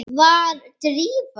Var Drífa?